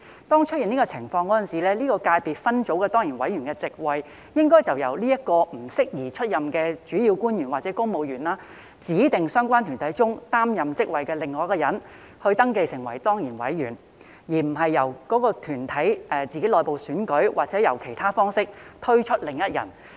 當出現這種情況時，該界別分組的當然委員的席位，應由該名不宜出任的主要官員或公務員，指定在相關團體中擔任職位的另一人登記為當然委員，而並非由該團體作內部選舉或以其他方式推舉另一人。